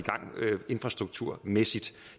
infrastrukturmæssigt